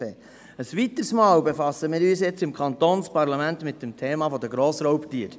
Ein weiteres Mal befassen wir uns nun im Kantonsparlament mit dem Thema Grossraubtiere.